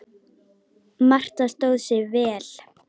Marta stóð sig vel.